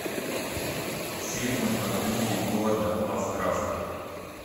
фильмы по книге говарда лавкрафта